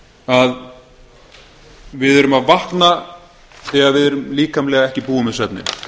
að við erum vakna þegar við erum líkamlega ekki búin með svefninn